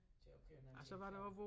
Til at køre en anden færge